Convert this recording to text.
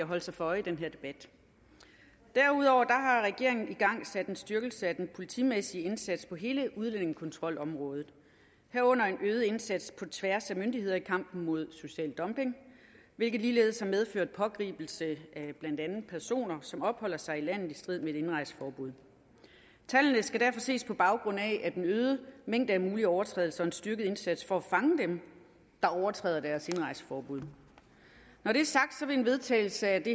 holde sig for øje i den her debat derudover har regeringen igangsat en styrkelse af den politimæssige indsats på hele udlændingekontrolområdet herunder en øget indsats på tværs af myndigheder i kampen mod social dumping hvilket ligeledes har medført pågribelse af blandt andet personer som opholder sig i landet i strid med et indrejseforbud tallene skal derfor ses på baggrund af den øgede mængde af mulige overtrædelser og en styrket indsats for at fange dem der overtræder deres indrejseforbud når det er sagt vil en vedtagelse af det